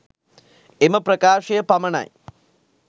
එම ප්‍රකාශය පමණයි.